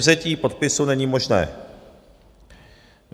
Zpětvzetí podpisu není možné.